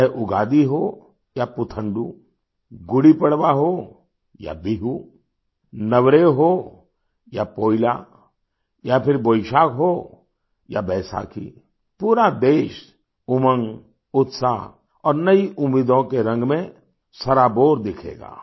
चाहे उगादी हो या पुथंडू गुड़ी पड़वा हो या बिहू नवरेह हो या पोइला या फिर बोईशाख हो या बैसाखी पूरा देश उमंग उत्साह और नई उम्मीदों के रंग में सराबोर दिखेगा